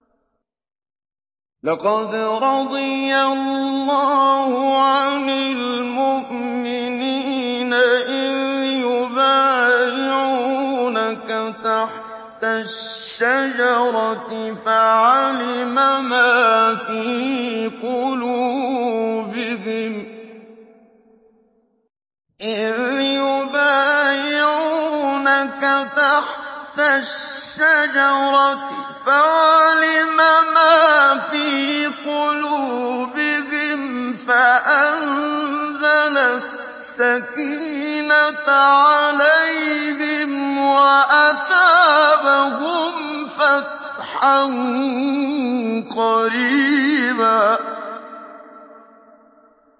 ۞ لَّقَدْ رَضِيَ اللَّهُ عَنِ الْمُؤْمِنِينَ إِذْ يُبَايِعُونَكَ تَحْتَ الشَّجَرَةِ فَعَلِمَ مَا فِي قُلُوبِهِمْ فَأَنزَلَ السَّكِينَةَ عَلَيْهِمْ وَأَثَابَهُمْ فَتْحًا قَرِيبًا